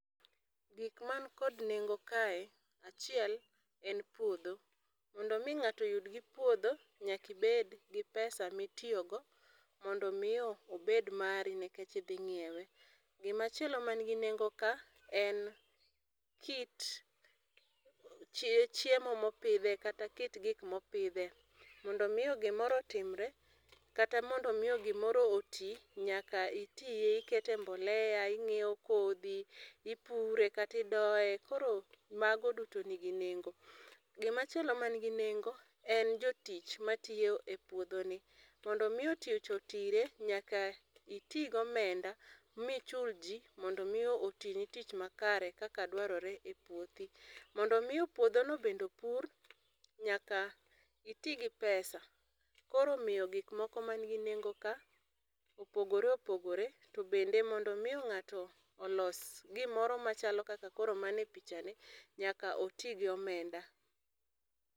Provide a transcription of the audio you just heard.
Gik man kod nengo kae achiel en puodho. Mondo mi ng'ato yud gi puodho nyaka ibed gi pesa mi itiyo go mondo mi obed mari nikech idhi ng'iewe. Gi ma chielo man kae en kit chiemo ma opidhe kata kit gik ma opidhe. Mondo mi gi moro otimre kata mondo mi gi moro oti nyaka ipidhe, iket ne mbloea, ing'iyo kodhi, ipure kata idoye koro mago duto ni gi nengo. Gi machielo man gi nengo en jotich ma tiyo e puodho ni. Mondo mi tich otire nyaka iti gi omenda mi chul ji mondo mi oti ni tich makare kaka dwarore e puothi. Mondo mi puodho no bende opur nyaka iti gi pesa koro omiyo gik moko man gi nengo ka opogore opogore chalo kaka man e picha ni nyaka bende mondo mi ng'ato olos gi moro ma chalo kaka man e picha ni nyaka oti gi omenda.